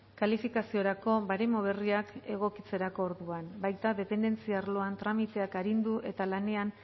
kalifikaziorako baremo berriak egokitzerako orduan baita dependentzia arloan tramiteak arindu eta lanean